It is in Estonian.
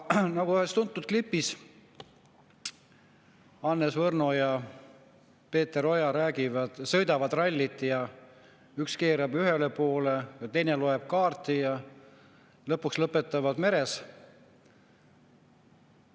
Ühes tuntud klipis Hannes Võrno ja Peeter Oja sõidavad rallit, üks keerab ühele poole, teine loeb kaarti ja lõpuks lõpetavad mere ääres.